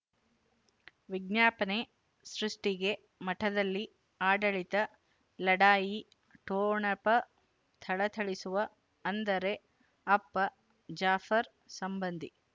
ವಿಜ್ಞಾಪನೆ ಸೃಷ್ಟಿಗೆ ಮಠದಲ್ಲಿ ಆಡಳಿತ ಲಢಾಯಿ ಠೊಣಪ ಥಳಥಳಿಸುವ ಅಂದರೆ ಅಪ್ಪ ಜಾಫರ್ ಸಂಬಂಧಿ